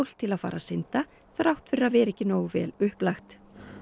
til að fara að synda þrátt fyrir að vera ekki nógu vel upplagt